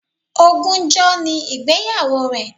Ogúnjọ́ ni ìgbéyàwó rẹ̀